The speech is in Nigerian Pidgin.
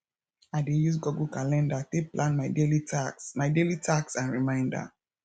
i dey use google calender take plan my daily task my daily task and reminder